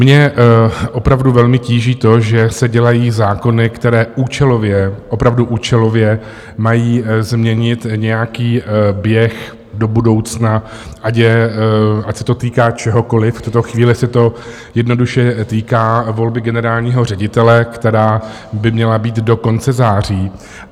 Mě opravdu velmi tíží to, že se dělají zákony, které účelově, opravdu účelově, mají změnit nějaký běh do budoucna, ať se to týká čehokoliv - v tuto chvíli se to jednoduše týká volby generálního ředitele, která by měla být do konce září.